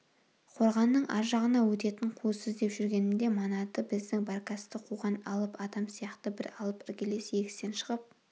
қорғанның аржағына өтетін қуыс іздеп жүргенімде манаты біздің баркасты қуған алып адам сияқты бір алып іргелес егістен шығып